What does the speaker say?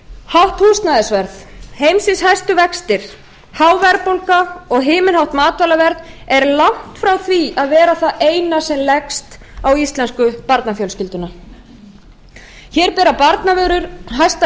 hátt húsnæðisverð heimsins hæstu vextir há verðbólga og himinhátt matvælaverð er langt frá því að vera það eina sem leggst á íslensku barnafjölskylduna hér bera barnavörur hæsta